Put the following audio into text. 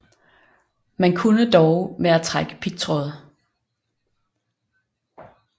Man kunne dog med at trække pigtråd